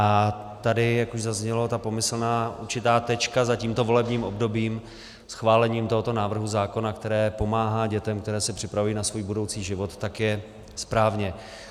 A tady, jak už zaznělo, ta pomyslná určitá tečka za tímto volebním obdobím schválením tohoto návrhu zákona, které pomáhá dětem, které se připravují na svůj budoucí život, tak je správně.